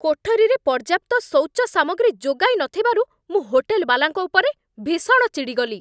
କୋଠରୀରେ ପର୍ଯ୍ୟାପ୍ତ ଶୌଚ ସାମଗ୍ରୀ ଯୋଗାଇ ନଥିବାରୁ ମୁଁ ହୋଟେଲ୍‌ବାଲାଙ୍କ ଉପରେ ଭୀଷଣ ଚିଡ଼ିଗଲି।